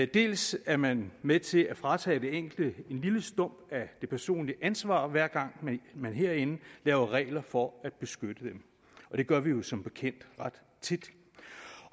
dels er man med til at fratage den enkelte en lille stump af det personlige ansvar hver gang man herinde laver regler for at beskytte dem det gør vi jo som bekendt ret tit